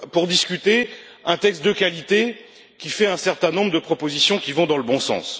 discuter un texte de qualité qui fait un certain nombre de propositions allant dans le bon sens.